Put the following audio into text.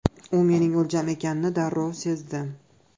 U mening o‘ljam ekanini darrov sezdim.